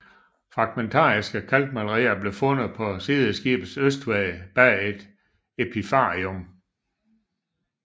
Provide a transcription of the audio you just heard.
Fragmentariske kalkmalerier blev fundet på sideskibets østvæg bag et epitafium